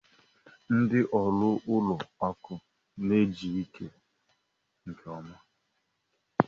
Ndị ọrụ ụlọ akụ n'ejike nke ọma.